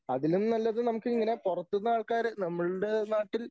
അതിലും നല്ലത് നമുക്കിങ്ങനെ പുറത്തൂന്ന് ആൾക്കാരെ നമ്മളുടെ നാട്ടിൽ